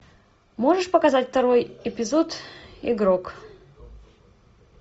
можешь показать второй эпизод игрок